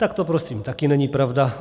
Tak to prosím taky není pravda.